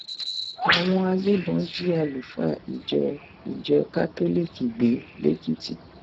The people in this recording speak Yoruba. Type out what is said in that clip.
àwọn agbébọn jí àlùfáà ìjọ ìjọ kátólíìkì gbé lẹkìtì